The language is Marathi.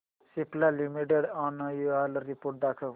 सिप्ला लिमिटेड अॅन्युअल रिपोर्ट दाखव